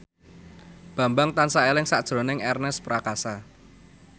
Bambang tansah eling sakjroning Ernest Prakasa